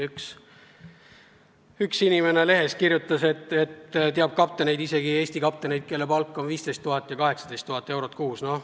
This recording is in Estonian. Üks inimene lehes kirjutas, et teab isegi Eesti kapteneid, kelle palk on 15 000 ja 18 000 eurot kuus.